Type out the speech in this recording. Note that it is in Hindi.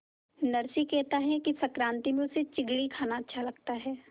नरसी कहता है कि संक्रांति में उसे चिगडी खाना अच्छा लगता है